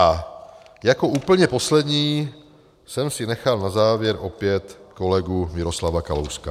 A jako úplně poslední jsem si nechal na závěr opět kolegu Miroslava Kalouska.